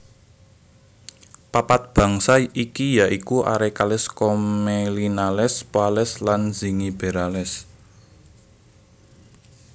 Papat bangsa iki ya iku Arecales Commelinales Poales lan Zingiberales